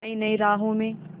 नई नई राहों में